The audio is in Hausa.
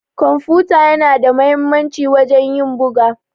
kwamfuta yana da muhimmanci wajen ƴin buga.